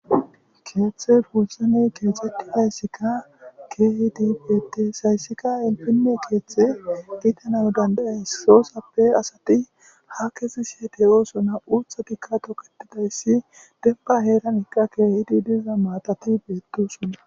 Keeththe booththanne keexetidayssikka keehidi beetees. Hayssikka elppine keeththe gidanaw danda7ees. Sosappe asati ha kezishe de7oosona. Uuththatikka toketidayssi dembba heeran gita keehidi diza maatati beetosona.